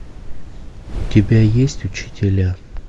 у тебя есть учителя